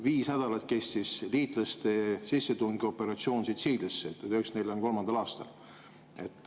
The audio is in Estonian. Viis nädalat kestis liitlaste sissetungioperatsioon Sitsiiliasse 1943. aastal.